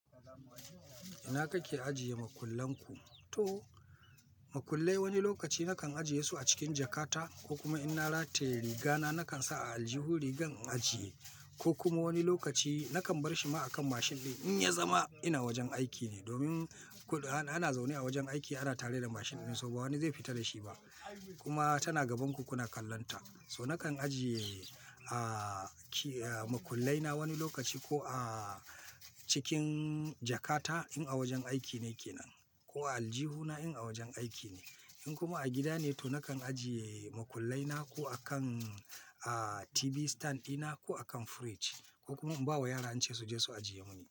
Ina kake ajiye makullan ku? To, makullai wani lokaci nakan ajiye su a cikin jakata ko kuma in na rataye riga na nakan sa a aljihun rigan in ajiye ko kuma wani lokaci nakan bar shi ma a kan mashin ɗin in ya zama ina wajen aiki ne domin ana zaune a wajen aiki ana tare da mashin ɗin, so ba wani zai fita da shi ba kuma tana gabanku kuna kallon ta. So nakan ajiye, makullai na wani lokaci ko a cikin jakata in a wajen aiki nake nan ko a aljihuna in a wajen aiki ne. In kuma a gida ne to nakan ajiye makullai na ko a kan, TV stand ina ko a kan fridge ko kuma in ba wa yara in ce su je su ajiye mini.